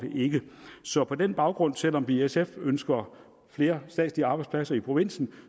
så på den baggrund selv om vi i sf ønsker flere statslige arbejdspladser i provinsen